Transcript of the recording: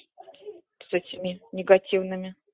с этими негативными